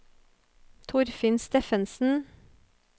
Torfinn Steffensen